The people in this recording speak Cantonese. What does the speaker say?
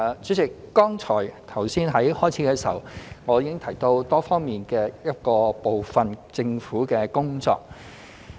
主席，剛才在開場發言中，我已提到政府多方面的部分工作。